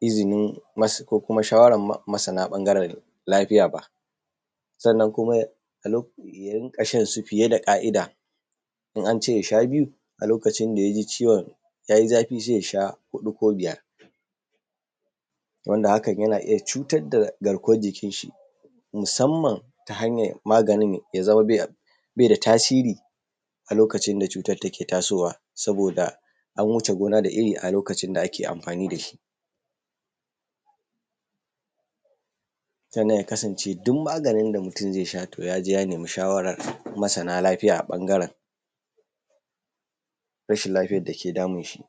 izinin ko kuma shawaran masana ɓangaren lafiya ba. Sannan kuma ya rinƙa shan su fiye da ka’ida, in ance yasha biyu a lokacin daya ji ciwon yayi zafi sai ya sha huɗu ko biyar. Wanda hakan yana iya cutar da garkuwan jikin shi, musamman ta hanyar maganin ya zama be da tasiri a lokacin da cutar take tasowa saboda an wuce gona da iri, a lokacin da ake amfani dashi. Sannan ya kasance duk maganin da mutum zai sha to ya je ya nemi shawaran masana lafiya a ɓangaren rashin lafiyar dake damun shi.